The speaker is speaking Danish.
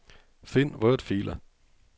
Find wordfiler.